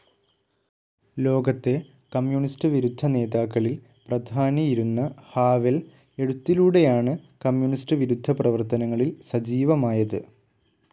ലോകത്തെ കമ്മ്യൂണിസ്റ്റ്‌ വിരുദ്ധ നേതാക്കളിൽ പ്രധാനിയിരുന്ന ഹാവെൽ എഴുത്തിലൂടെയാണു കമ്മ്യൂണിസ്റ്റ്‌ വിരുദ്ധ പ്രവർത്തനങ്ങളിൽ സജീവമായത്‌.